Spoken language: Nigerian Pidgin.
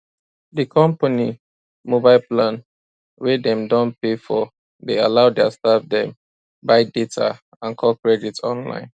di company mobile plan wey dem don pay for dey allow their staff dem buy data and call credit online